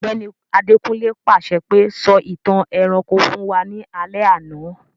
Ògbẹ́ni Adekunle pàṣẹ pe, 'Sọ ìtàn ẹranko fun wa ni alẹ́ àná'